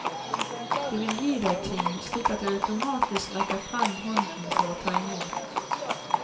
De vil gi deg ting, slik at du automatisk rekker frem hånden for å ta i mot.